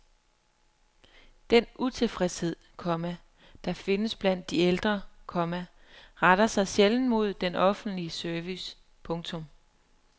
Den utilfredshed, komma der findes blandt de ældre, komma retter sig sjældent mod den offentlige service. punktum